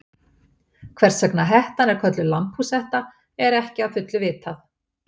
Hvers vegna hettan er kölluð lambhúshetta er ekki að fullu vitað.